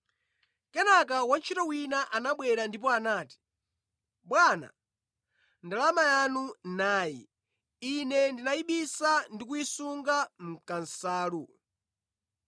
“Kenaka wantchito wina anabwera ndipo anati, ‘Bwana, ndalama yanu nayi; ine ndinayibisa ndi kuyisunga mʼkansalu.